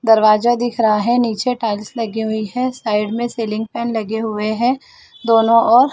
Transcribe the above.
दरवाजा दिख रहा हैं नीचे टाइल्स लगी हुई है साइड में सीलिंग फैन लगे हुए है दोनों ओर--